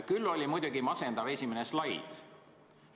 Küll oli muidugi masendav esimene slaid.